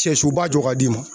Sɛsoba jɔ ka d'i ma.